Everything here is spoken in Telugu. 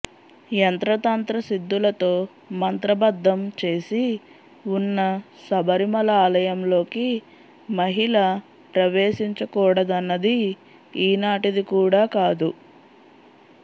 యంత్రతంత్ర సిద్ధులతో మంత్రబద్ధం చేసి ఉన్న శబరిమల ఆలయంలోకి మహిళల ప్రవేశించకూడదన్నది ఈనాటిది కూడా కాదు